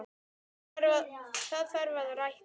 Það þarf að rækta.